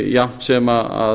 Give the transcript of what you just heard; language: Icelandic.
jafnt sem